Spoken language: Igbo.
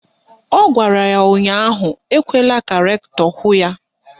Ọ gwara ya ụnyaahụ "Ekwela ka rektọ hụ ya"!